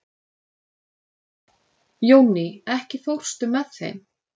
Jónný, ekki fórstu með þeim?